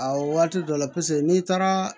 A waati dɔ la n'i taara